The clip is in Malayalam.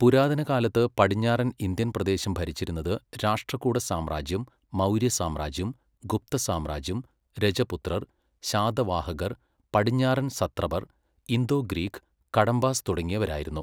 പുരാതന കാലത്ത് പടിഞ്ഞാറൻ ഇന്ത്യൻ പ്രദേശം ഭരിച്ചിരുന്നത് രാഷ്ട്രകൂട സാമ്രാജ്യം, മൗര്യ സാമ്രാജ്യം, ഗുപ്ത സാമ്രാജ്യം, രജപുത്രർ, ശാതവാഹകർ, പടിഞ്ഞാറൻ സത്രപർ, ഇന്തോ ഗ്രീക്ക്, കടമ്പാസ് തുടങ്ങിയവരായിരുന്നു.